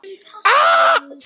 Sambönd eru erfið!